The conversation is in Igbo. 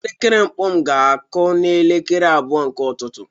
Elekere mkpu m ga-akụ n'elekere abụọ nke ụtụtụ